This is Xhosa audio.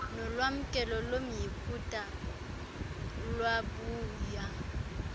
nolwamkelo lomyiputa lwabuya